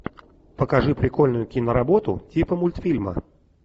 покажи прикольную киноработу типа мультфильма